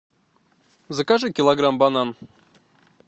закажи килограмм банан